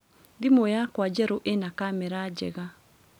Thimũ yakwa njerũ ĩna kamera njega